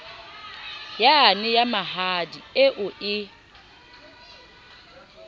yane ya mahadi eo e